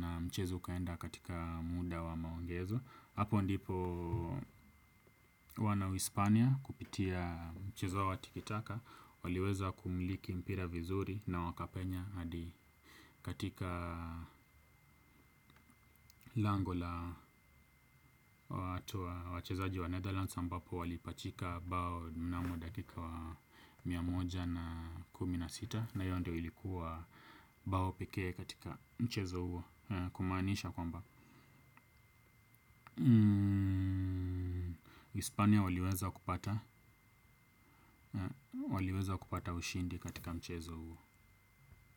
Na mchezo ukaenda katika muda wa maongezo. Hapo ndipo wana uhispania kupitia mchezo wa tikitaka waliweza kumiliki mpira vizuri na wakapenya hadi katika lango la watu wachezaji wa Netherlands ambapo walipachika bao mnamo dakika wa mia moja na kumi na sita. Na hiyo ndiyo ilikuwa bao pekee katika mchezo huo kumaanisha kwamba Hispania waliweza kupata ushindi katika mchezo huo.